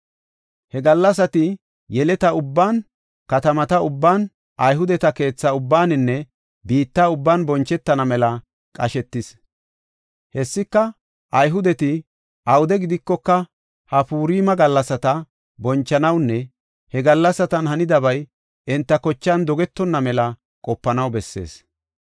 He gallasati yeleta ubban, katamata ubban, Ayhudeta keetha ubbaninne biitta ubban bonchetana mela qashetis. Hessika, Ayhudeti awude gidikoka, ha Purima gallasata bonchanawunne he gallasatan hanidabay enta kochan dogetonna mela qopanaw bessees.